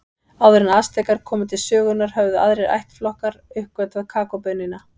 Áður en Astekar komu til sögunnar höfðu aðrir ættflokkar uppgötvað kakóbaunina.